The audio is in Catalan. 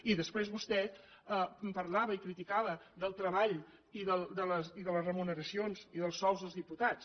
i després vostè parlava i criticava el treball i les remuneracions i els sous dels diputats